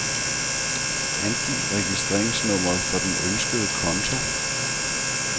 Angiv registreringsnummeret for den ønskede konto.